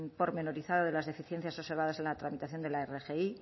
pormenorizado de las deficiencias observadas en la tramitación de la rgi